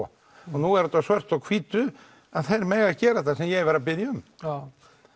nú er þetta svart á hvítu að þeir mega gera þetta sem ég var að biðja um já